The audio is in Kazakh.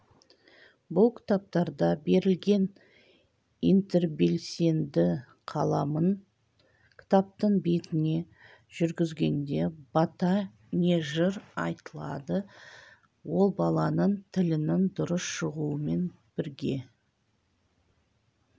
бұл кітаптарда берілген интербелсенді қаламын кітаптың бетіне жүргізгенде бата не жыр айтылады ол баланың тілінің дұрыс шығуымен бірге